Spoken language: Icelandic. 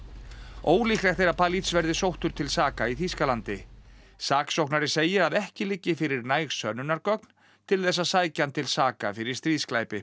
ólíklegt er að Palij verði sóttur til saka í Þýskalandi saksóknari segir að ekki liggi fyrir næg sönnunargögn til þess að sækja hann til saka fyrir stríðsglæpi